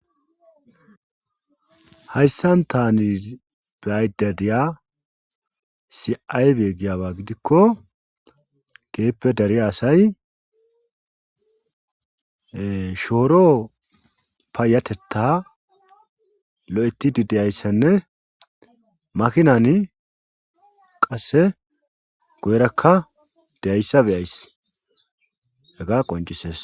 Hayssan tani biaydadiya siaybe giyaba gidikko geeppe dariya asay shooro payatetta lo'etidi deyayssenne makinan qasse goyrakka deyayssa beyays hega qoncisees.